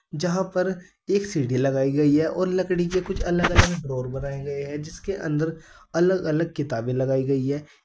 जहां पर एक सीढ़ी लगाई गई है और लकड़ी के कुछ अगल अलग ड्रॉअर बनाए गए है जिसके अंदर अलग अलग किताबे लगाई गई है।